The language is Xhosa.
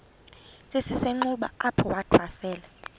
esisenxuba apho wathwasela